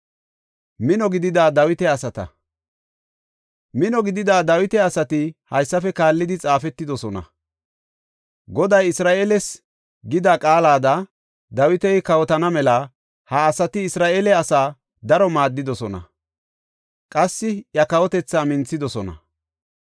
Mino gidida Dawita asati haysafe kaallidi xaafetidosona. Goday Isra7eeles gida qaalada Dawiti kawotana mela ha asati Isra7eele asaara daro maaddidosona. Qassi iya kawotethaa minthidosona.